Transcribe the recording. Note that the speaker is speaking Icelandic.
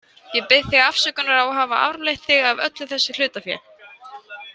Ég bið þig afsökunar á að hafa arfleitt þig af öllu þessu hlutafé.